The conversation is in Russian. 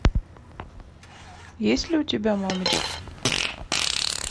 есть ли у тебя мамочки